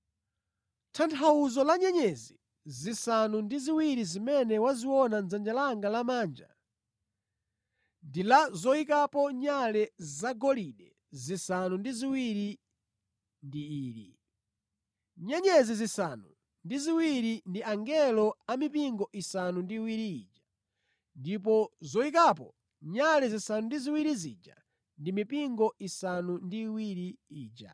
Tanthauzo la nyenyezi zisanu ndi ziwiri zimene waziona mʼdzanja langa lamanja ndi la zoyikapo nyale zagolide zisanu ndi ziwiri ndi ili: Nyenyezi zisanu ndi ziwiri ndi angelo a mipingo isanu ndi iwiri ija, ndipo zoyikapo nyale zisanu ndi ziwiri zija ndi mipingo isanu ndi iwiri ija.”